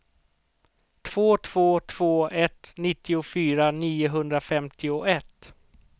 två två två ett nittiofyra niohundrafemtioett